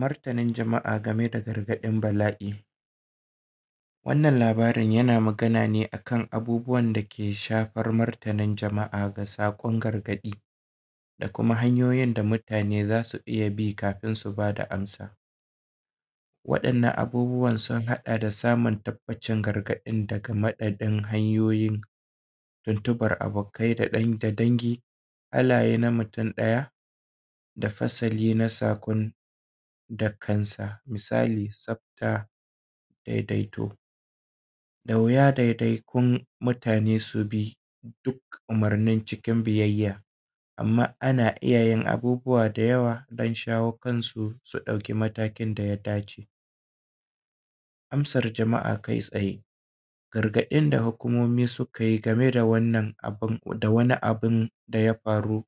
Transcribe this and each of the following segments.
Martanin jama'a game da gargaɗin bala'i. Wannan labarin yana magana ne a kan abubuwan da ke shafar martanin jama'a ga saƙon gargaɗi, da kuma hanyoyin da mutane za su iya bi kafin su ba da amsa. Waɗannan abubuwan sun haɗa da samun tabbacin gargaɗin daga maɗabin hanyoyin, tuntuɓar abokkai da dangi, Halaye na mutum ɗaya, da fasali na saƙon da kansa, misali tsafta, daidaito, da wuya ɗaiɗaikun mutane su bi duk umurnin cikin biyayya, amma ana iya yin abubuwa da yawa don shawo kansu su ɗauki matakin da ya dace. Amsar jama'a kai tsaye, gargaɗin da Hukumomi suka yi game da wannan abun, da wani abun da ya faru,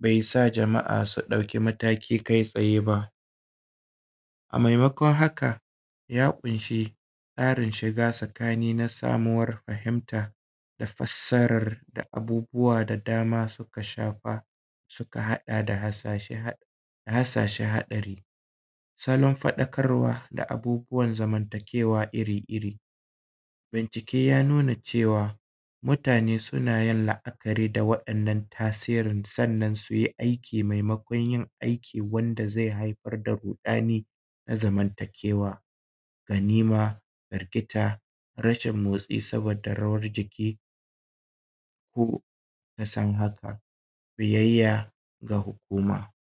bai sa jama'a su ɗauki mataki kai tsaye ba. A maimakon haka ya ƙunshi tsarin shiga tsakani na samuwar fahimtar da fassarar da abubuwa da dama suka shafa, suka haɗa da hassashe-hassashe haɗari, salon faɗakawar da abubuwan zamanta kewa iri-iri. Bincike ya nuna cewa, mutane suna yin la'a'kari da waɗannan tasirin, sannan su yi aiki maimakon yin aiki wanda zai haifar da ruɗani na zamantakewa, ganima, firgita, rashin motsi saboda rawar jiki, ku kuka san haka, biyayya ga Hukuma.